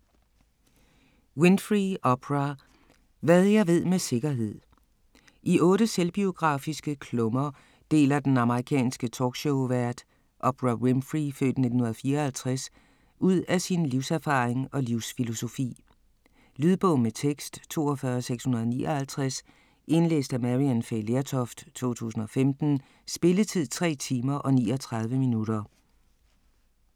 Winfrey, Oprah: Hvad jeg ved med sikkerhed I 8 selvbiografiske klummer deler den amerikanske talkshowvært, Oprah Winfrey (f. 1954), ud af sin livserfaring og livsfilosofi. Lydbog med tekst 42659 Indlæst af Maryann Fay Lertoft, 2015. Spilletid: 3 timer, 39 minutter.